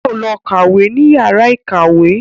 Yóò lọ kàwé ní yàrá ìkàwé